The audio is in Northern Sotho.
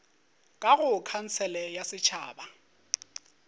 ka go khansele ya setšhaba